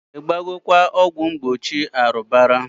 I gbagokwa ọgwụ mgbochi arubara?